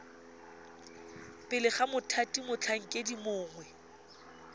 pele ga mothati motlhankedi mongwe